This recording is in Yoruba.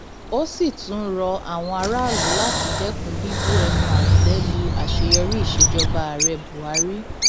ó sì tún rọ àwọn aráàlú láti dẹkun bíbu ẹnu àtẹ lu àṣeyọrí ìsejọba ààrẹ buhari